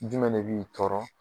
Jumɛn de b'i tɔɔrɔ?